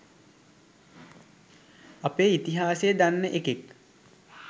අපේ ඉතිහාසය දන්න එකෙක්